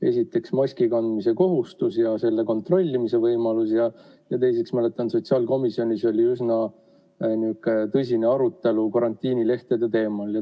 Esiteks, maski kandmise kohustus ja selle kontrollimise võimalused, ja teiseks, ma mäletan, sotsiaalkomisjonis oli üsna tõsine arutelu karantiinilehtede teemal.